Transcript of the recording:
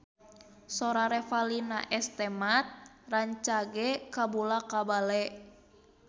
Sora Revalina S. Temat rancage kabula-bale